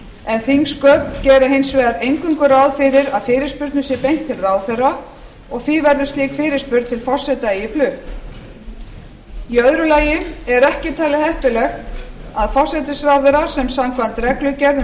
en þingsköp gera hins vegar eingöngu ráð fyrir að fyrirspurnum sé beint til ráðherra og því verður slík fyrirspurn til forseta eigi flutt í öðru lagi er ekki talið heppilegt að forsætisráðherra sem samkvæmt reglugerð um